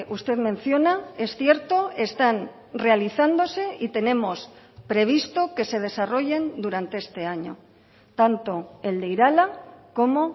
usted menciona es cierto están realizándose y tenemos previsto que se desarrollen durante este año tanto el de irala como